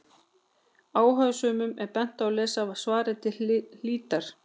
Áhugasömum er bent á að lesa svarið til hlítar.